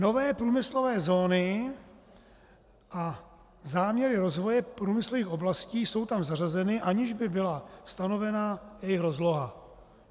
Nové průmyslové zóny a záměry rozvoje průmyslových oblastí jsou tam zařazeny, aniž by byla stanovena jejich rozloha.